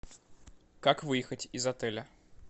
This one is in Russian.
как выехать из отеля